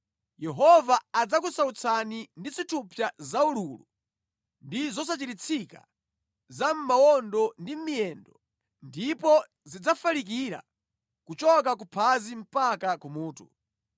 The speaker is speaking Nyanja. Yehova adzakusautsani ndi zithupsa zaululu ndi zosachiritsika za mʼmawondo ndi mʼmiyendo ndipo zidzafalikira kuchoka kuphazi mpaka kumutu.